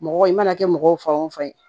Mɔgɔ i mana kɛ mɔgɔw fan o fan ye